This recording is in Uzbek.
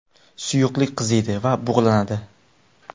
Suyuqlik qiziydi va bug‘lanadi.